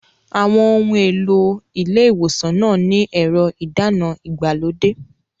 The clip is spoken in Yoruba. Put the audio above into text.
Àwọn ohun èlò ilé ìwòsàn náà ní ẹ̀rọ ìdáná ìgbàlódé.